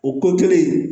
O ko kelen